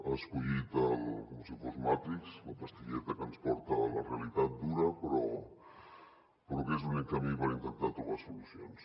ha escollit com si fos matrix la pastilleta que ens porta a la realitat dura però que és l’únic camí per intentar trobar solucions